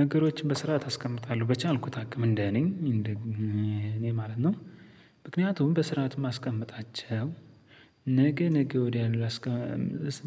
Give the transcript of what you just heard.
ነገሮችን በስርዓት አስቀምጣለሁ በቻልኩት አቅም እንደ እኔ እንደ እኔ ማለት ነው። ምክንያቱም በስርዓት የማስቀምጣቸው ነገ ነገ ወዲያ